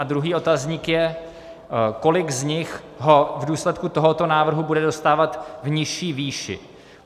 A druhý otazník je, kolik z nich ho v důsledku tohoto návrhu bude dostávat v nižší výši.